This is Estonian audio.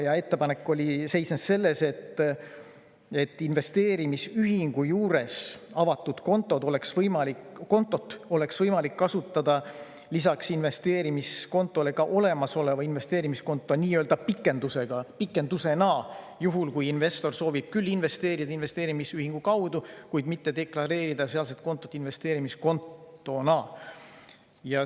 See ettepanek seisnes selles, et investeerimisühingu juures avatud kontot oleks võimalik kasutada lisaks investeerimiskontole ka olemasoleva investeerimiskonto nii-öelda pikendusena, juhul kui investor soovib küll investeerida investeerimisühingu kaudu, kuid mitte deklareerida sealset kontot investeerimiskontona.